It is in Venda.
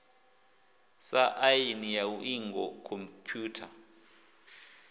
sa aini ya iuingo khomphutha